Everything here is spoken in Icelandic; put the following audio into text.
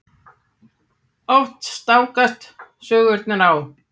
Oft stangast sögurnar á.